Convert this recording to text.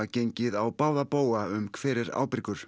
gengið á báða bóga um hver er ábyrgur